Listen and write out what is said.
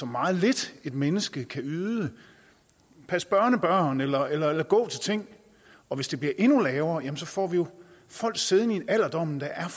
meget lidt et menneske kan yde passe børnebørn eller eller gå til ting og hvis det bliver endnu lavere får vi jo folk siddende i alderdommen der er